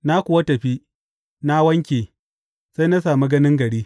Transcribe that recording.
Na kuwa tafi, na wanke, sai na sami ganin gari.